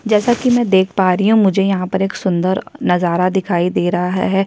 जैसा कि मैं देख पा रही हूँ मुझे यहाँ पर सुंदर नजारा दिखाई दे रहा है।